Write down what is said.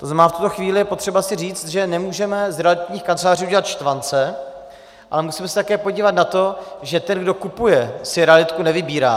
To znamená, v tuto chvíli je potřeba si říct, že nemůžeme z realitních kanceláří udělat štvance, ale musíme se také podívat na to, že ten, kdo kupuje, si realitku nevybírá.